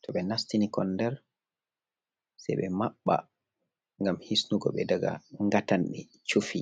to ɓe nastini kon nder se ɓe maɓɓa gam hisnugo be daga ngatande chufi.